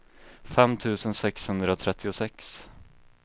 fem tusen sexhundratrettiosex